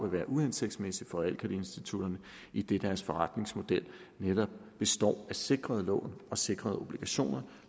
være uhensigtsmæssigt for realkreditinstitutterne idet deres forretningsmodel netop består af sikrede lån og sikrede obligationer